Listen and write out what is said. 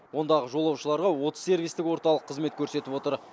ондағы жолаушыларға отыз сервистік орталық қызмет көрсетіп отыр